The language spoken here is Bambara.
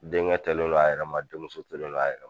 Denkɛ tolen no a yɛrɛ ma denmuso tolen no a yɛrɛ